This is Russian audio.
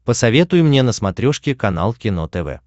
посоветуй мне на смотрешке канал кино тв